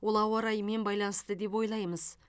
ол ауа райымен байланысты деп ойлаймыз